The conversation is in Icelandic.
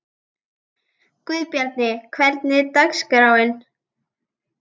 Guðbjarni, hvernig er dagskráin?